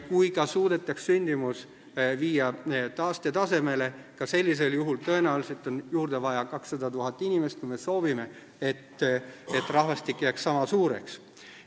Kui ka suudetaks viia sündimus taastetasemele, on tõenäoliselt juurde vaja 200 000 inimest, kui me soovime, et rahvastik jääks sama suureks.